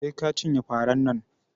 Sai ka cinye faran nan